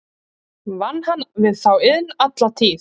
Vann hann við þá iðn alla tíð.